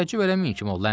Təəccüb eləməyin kim ol?